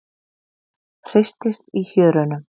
Hristist í hjörunum.